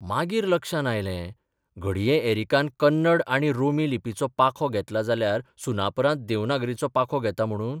मागीर लक्षांत आयलें घडये एरिकान कन्नड आनी रोमी लिपीचो पाखो घेतला जाल्यार सुनापरान्त देवनागरीचो पाखो घेता म्हणून?